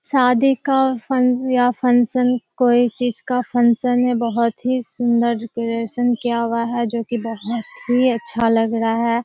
शादी का फन या फंक्शन कोई चीज़ का फंक्शन है बहुत ही सुंदर डेकोरेशन किया हुआ है जो की बहुत ही अच्छा लग रहा --